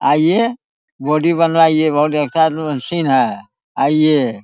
आइए बॉडी बनाइये बहुत अच्छा मशीन है आइए।